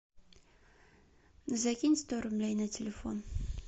закинь сто рублей на телефон